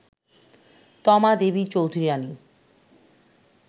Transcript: Toma Devi Chaudhurani